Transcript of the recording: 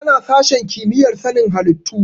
Tana sashen kimiyyar sanin halittu.